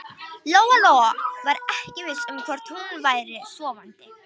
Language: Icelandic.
Lóa-Lóa var ekki viss um hvort hún væri sofandi.